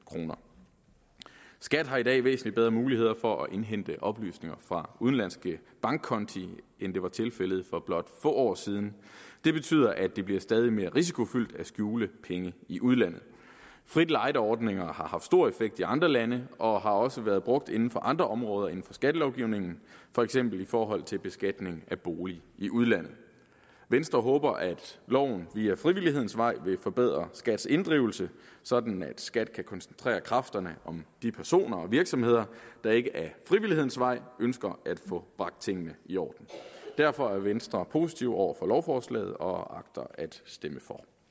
kroner skat har i dag væsentlig bedre muligheder for at indhente oplysninger fra udenlandske bankkonti end det var tilfældet for blot få år siden det betyder at det bliver stadig mere risikofyldt at skjule penge i udlandet frit lejde ordninger har haft stor effekt i andre lande og har også været brugt inden for andre områder inden for skattelovgivningen for eksempel i forhold til beskatning af bolig i udlandet venstre håber at loven via frivillighedens vej vil forbedre skats inddrivelse sådan at skat kan koncentrere kræfterne om de personer og virksomheder der ikke ad frivillighedens vej ønsker at få bragt tingene i orden derfor er venstre positiv over for lovforslaget og agter at stemme